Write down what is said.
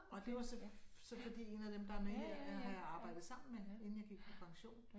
Og det var så så fordi 1 af dem der med her er har jeg arbejdet sammen med inden jeg gik på pension